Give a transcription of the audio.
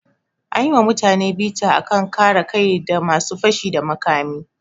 An yi wa mutane bita a kan kare kai da ga masu fashi da makami.